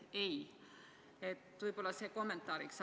Nii palju kommentaariks.